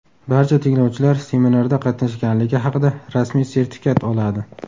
Barcha tinglovchilar seminarda qatnashganligi haqida rasmiy sertifikat oladi.